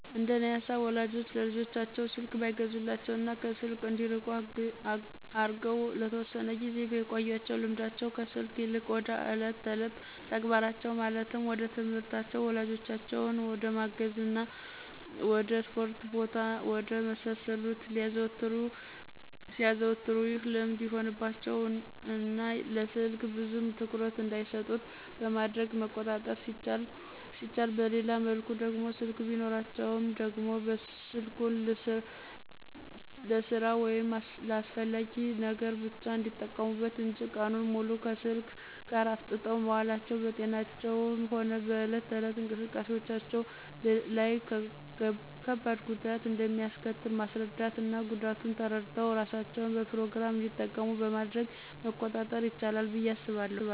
እንደኔ ሃሳብ ወላጆች ለልጆቻቸው ተው ስልክ ባይገዙላቸው እና ከስልክ እንዲርቁ አርገው ለተወሰነ ጊዜ ቢያቆዪአቸው ልምዳቸው ከስልክ ይልቅ ወደ እለት እለት ተግባራቸው ማለትም ወደትምህርታቸው፣ ወላጆቻቸውን ወደመታዛዝ፣ ወድ እስፖርት ቦታ እና ወደ መሳሰሉት ሲያዘወትሩ ይህ ልምድ ይሆንባቸው እና ለስልክ ብዙም ትኩረት እንዳይሰጡት በማድረግ መቆጣጠር ሲቻል በሌላ መልኩ ደግሞ ስልክ ቢኖራቸውም ደግሞ ስልኩን ልስራ ወይም ለአስፈላጊ ነገር ብቻ እንዲጠቀሙበት እንጅ ቀኑን ሙሉ ከስልክ ጋር አፍጠው መዋላቸው በጤናቸውም ሆነ በእለት እለት እንቅስቃሴዎቻቸው ላይ ከባድ ጉዳት እንደሚአስከትል ማስራዳት እና ጉዳቱን ተረድተው እራሳቸው በፕሮግራም እንዲጠቀሙ በማድረግ መቆጣጠር ይችላል ብዬ አስባለሁ።